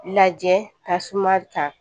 Lajɛ ka suma kan